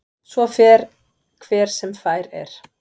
Svo fer hver sem fær er.